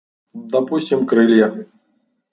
допустим крылья